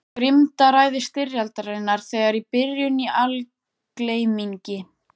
Grimmdaræði styrjaldarinnar þegar í byrjun í algleymingi.